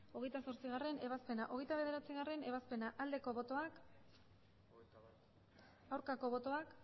hogeita zortzigarrena ebazpena hogeita bederatzigarrena ebazpena aldeko botoak aurkako botoak